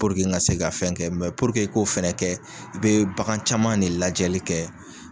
n ka se ka fɛn kɛ i k'o fɛnɛ kɛ i bɛ bagan caman ne lajɛli kɛ.